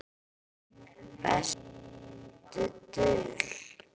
Besta dul